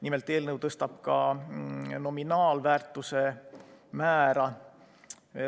Nimelt, eelnõu tõstab ka nominaalväärtuse määra.